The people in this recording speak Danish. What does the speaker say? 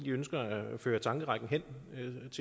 ønsker at føre tankerækken hen